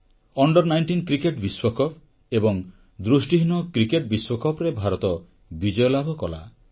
under 19 cricket ବିଶ୍ୱକପ ଏବଂ ଦୃଷ୍ଟିହୀନ କ୍ରିକେଟ ବିଶ୍ୱକପରେ ଭାରତ ବିଜୟଲାଭ କଲା